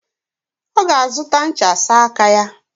Oga azuta ncha sa aka ya.